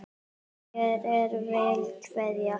Hér er vel kveðið!